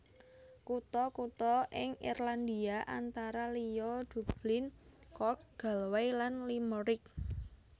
Kutha kutha ing Irlandia antara liya Dublin Cork Galway lan Limerick